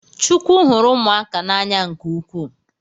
Chukwu hụrụ ụmụaka n’anya nke ukwu